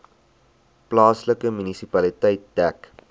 plaaslike munisipaliteit dek